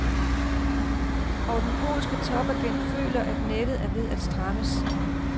Og den polske topagent føler, at nettet er ved at strammes.